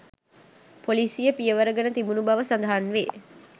පොලිසිය පියවර ගෙන තිබුණු බව සඳහන් වේ